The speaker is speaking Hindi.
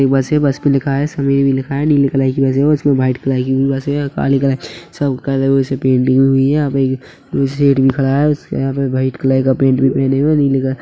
ये बस है बस मे लिखा है समीर भी लिखा है नीले कलर की बस है उसमें व्हाइट कलर की भी बस है और काली कलर सब कलरो से पेंटिंग हुई है यहाँ पे सेठ भी खड़ा है यहाँ पे व्हाइट कलर का पैन्ट भी पहने हुए है नीले कलर --